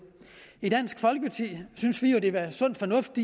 i dansk folkeparti synes vi det vil være sund fornuft